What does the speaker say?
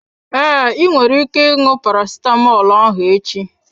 Ee, ị nwere ike ṅụọ parasitamọl ahụ echi.